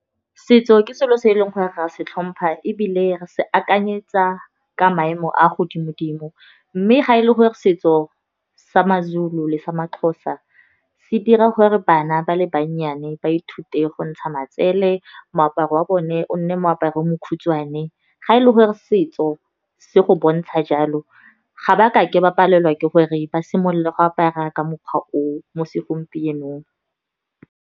Setso ke selo se e leng gore ra se tlhompha ebile se akanyetsa ka maemo a godimo-dimo. Mme ga e le gore setso sa maZulu le sa maXhosa se dira gore bana ba le bannyane ba ithute go ntsha matsele, moaparo wa bone o nne moaparo mokhutswane. Ga e le gore setso se go bontsha jalo ga ba kake ba palelwa ke gore ba simolole go apara ka mokgwa o, mo segompienong.